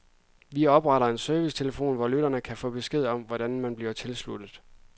Vi opretter en servicetelefon, hvor lytterne kan få besked om, hvordan man bliver tilsluttet.